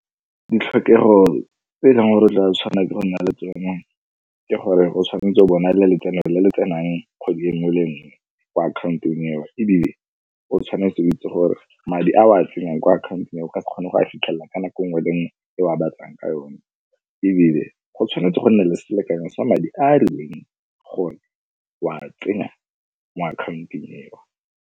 Ditlhokego tse e leng gore o tla tshwanela ke go nna le tsone, ke gore o tshwanetse o bo o na le letseno le le tsenang kgwedi e nngwe le e nngwe ko akhaontong eo. Ebile o tshwanetse o itse gore madi a o tsenyang ko akhaontong e o ka kgona go a fitlhelela ka nako nngwe le nngwe e o a batlang ka yone. Ebile go tshwanetse go nna le selekanyo sa madi a e leng gore o a tsenya mo akhaontong eo.